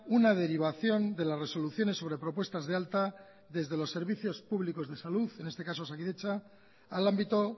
una derivación de las resoluciones sobre propuestas de alta desde los servicios públicos de salud en este caso osakidetza al ámbito